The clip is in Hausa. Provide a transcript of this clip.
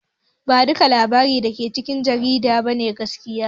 Ba duka labarai dake cikin jarida ne gaskiya ba